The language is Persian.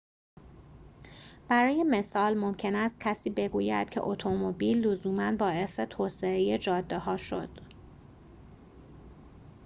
برای مثال ممکن است کسی بگوید که اتومبیل لزوما باعث توسعه جاده‌ها شد